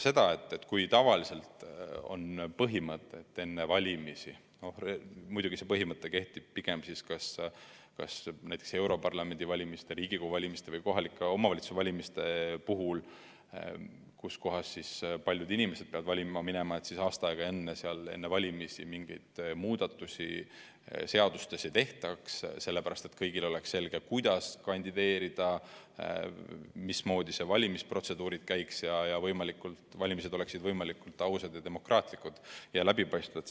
Jah, tavaliselt järgitakse põhimõtet – muidugi see põhimõte kehtib pigem europarlamendi valimiste, Riigikogu valimiste ja kohalike omavalitsuste valimiste puhul, kui valima peab minema palju inimesi –, et aasta aega enne valimisi mingeid muudatusi seadustes ei tehta, et kõigile oleks selge, kuidas kandideerida ja mismoodi valimisprotseduur käib, ning et valimised oleksid võimalikult ausad, demokraatlikud ja läbipaistvad.